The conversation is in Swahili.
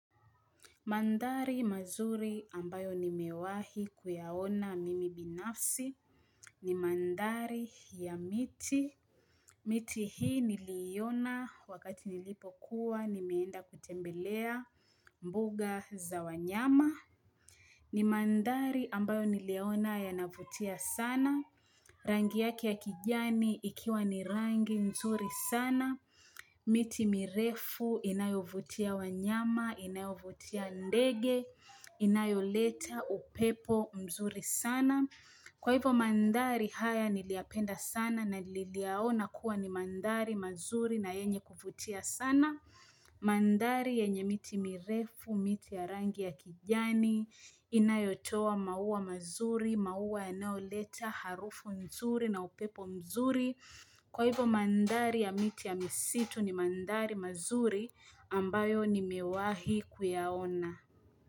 Mandari mazuri ambayo nimewahi kuyaona mimi binafsi ni mandari ya miti. Miti hii niliona wakati nilipo kuwa nimeenda kutembelea mbuga za wanyama. Ni mandari ambayo niliona ya navutia sana. Rangi yake yake kijani ikiwa ni rangi nzuri sana. Miti mirefu inayovutia wanyama inayovutia ndege inayoleta upepo mzuri sana kwa hivyo mandari haya niliapenda sana naliliaona kuwa ni mandari mazuri na yenye kuvutia sana mandari yenye miti mirefu miti ya rangi ya kijani inayotowa maua mazuri maua inayoleta harufu mzuri na upepo mzuri Kwa hivo mandari ya miti ya misitu ni mandari mazuri ambayo nimewahi kuyaona.